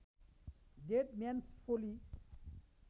dead Man's फोली